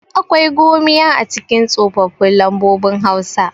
akwai gomiya a cikin tsofaffin lambobin hausa